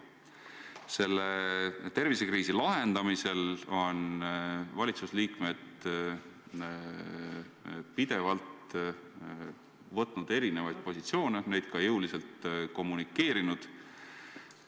Praeguse tervisekriisi lahendamisel on valitsuse liikmed pidevalt võtnud erinevaid positsioone ja neid ka jõuliselt kommunikeerinud.